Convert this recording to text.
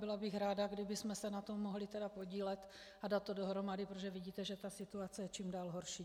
Byla bych ráda, kdybychom se na tom mohli podílet a dát to dohromady, protože vidíte, že ta situace je čím dál horší.